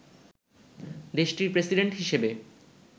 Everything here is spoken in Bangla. দেশটির প্রেসিডেন্ট হিসেবে